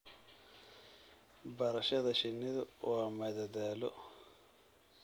Barashada shinnidu waa madadaalo.